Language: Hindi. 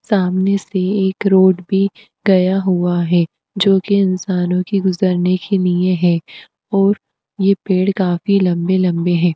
सामने से एक रोड भी गया हुआ हे जोकि इंसानो के गुजरने के नीए है ओर ये पेड़ काफी लम्बे-लम्बे हैं।